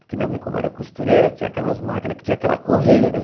Porque minha mãe, como era costureira, tinha aquelas máquinas que tinha aquela correia, né?